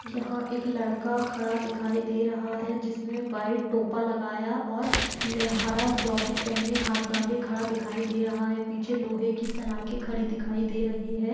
यहाँ एक लड़का खडा दिखाई दे रहा है जिसने व्हाईट टोपा लगाया और हरा जौकेट पहने हाथ बांधे खडा दिखाई दे रहा है पीछे लोहे की सलाखे खडी दिखाई दे रही है।